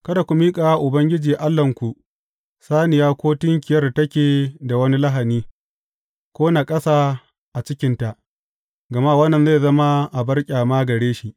Kada ku miƙa wa Ubangiji Allahnku, saniya ko tunkiyar da take da wani lahani, ko naƙasa a cikinta, gama wannan zai zama abar ƙyama gare shi.